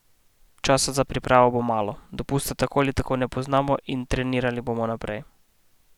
Časa za pripravo bo malo: "Dopusta tako ali tako ne poznamo in trenirali bomo naprej.